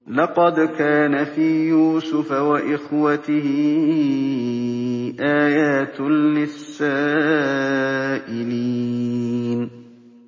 ۞ لَّقَدْ كَانَ فِي يُوسُفَ وَإِخْوَتِهِ آيَاتٌ لِّلسَّائِلِينَ